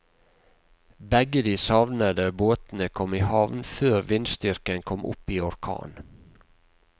Begge de savnede båtene kom i havn før vindstyrken kom opp i orkan.